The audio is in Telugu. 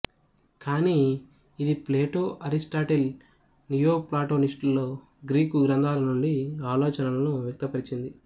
కానీ ఇది ప్లేటో అరిస్టాటిల్ నియోప్లాటోనిస్టుల గ్రీకు గ్రంథాల నుండి ఆలోచనలను వ్యక్తపరిచింది